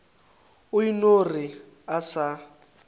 o eno re a sa